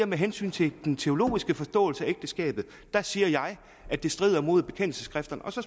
med hensyn til den teologiske forståelse af ægteskabet siger jeg at det strider mod bekendelsesskrifterne så